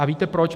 A víte proč?